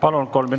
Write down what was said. Palun!